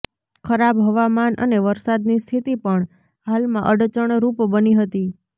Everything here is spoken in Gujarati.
ખરાબ હવામાન અને વરસાદની સ્થિતી પણ હાલમાં અડચણરૂપ બની હતી